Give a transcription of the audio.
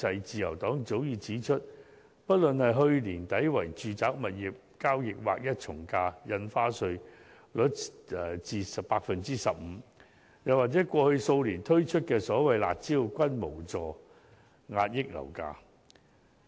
自由黨早已指出，不論是去年年底為住宅物業交易劃一從價印花稅稅率至 15%， 又或過去數年推出的所謂"辣招"，均無助遏抑樓價。